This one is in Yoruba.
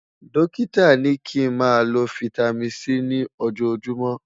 Dókítà ní kí n má ló fìtámín C ní ojó júùmọ̀